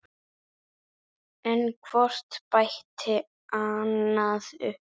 En hvort bætti annað upp.